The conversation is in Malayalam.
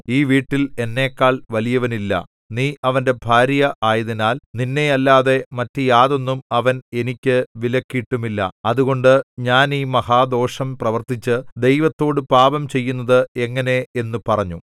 ഈ വീട്ടിൽ എന്നെക്കാൾ വലിയവനില്ല നീ അവന്റെ ഭാര്യ ആയതിനാൽ നിന്നെയല്ലാതെ മറ്റു യാതൊന്നും അവൻ എനിക്ക് വിലക്കിയിട്ടുമില്ല അതുകൊണ്ട് ഞാൻ ഈ മഹാദോഷം പ്രവർത്തിച്ച് ദൈവത്തോടു പാപം ചെയ്യുന്നത് എങ്ങനെ എന്നു പറഞ്ഞു